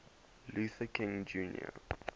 luther king jr